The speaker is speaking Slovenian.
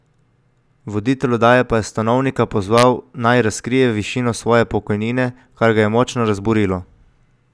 Voditelj oddaje pa je Stanovnika pozval tudi, naj razkrije višino svoje pokojnine, kar ga je močno razburilo.